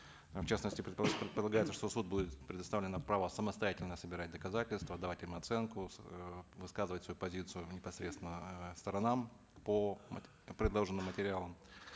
в частности предполагается что суду будет предоставлено право самостоятельно собирать доказательства давать им оценку эээ высказывать свою позицию непосредственно эээ сторонам по предложенным материалам